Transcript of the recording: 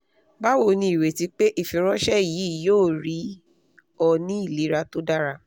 bawo ni ireti pe ifiranṣẹ yii yoo rii ọ ni ilera to dara